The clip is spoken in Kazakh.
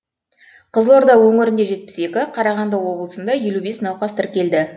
қызылорда өңірінде жетпіс екі қарағанды облысында елу бес науқас тіркелді